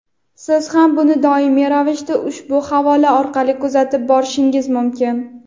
Siz ham buni doimiy ravishda ushbu havola orqali kuzatib borishingiz mumkin.